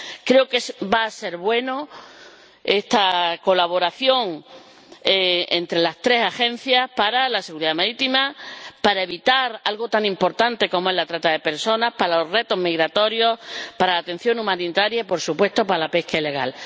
Creo que va a ser buena esta colaboración entre las tres Agencias para la seguridad marítima, para evitar algo tan importante como es la trata de personas, para los retos migratorios, para la atención humanitaria y, por supuesto, para la pesca ilegal.